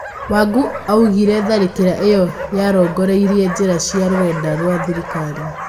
Wangũaugire tharĩkĩra ĩo yarongoreirie njĩra cia rũrenda rwa thirĩkarĩ.